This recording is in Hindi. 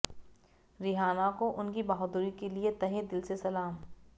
रिहाना को उनकी बहादुरी के लिए तहे दिल से सलाम